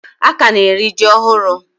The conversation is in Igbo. Aka na eri ji ohuru